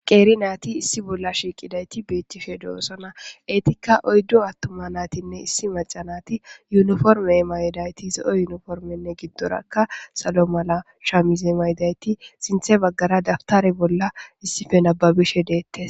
Qeri nayti issi bolla shiqidati bettishe de'etes etikka oydu attuma nayti issi mac'a nayti yuniforime mayidayti zo'o yuni forime mayidayti giddora sallo mala shamize mayidayti sinthe bagara dabutere bolla issippe nababishe de'ettes.